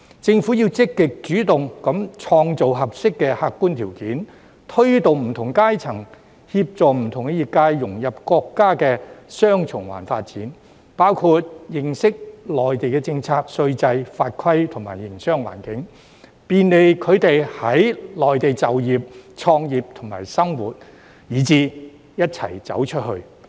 政府要積極主動地創造合適的客觀條件，推動不同階層和協助不同業界融入國家的"雙循環"發展，包括認識內地的政策、稅制、法規和營商環境，便利他們在內地就業、創業及生活，一起"走出去"。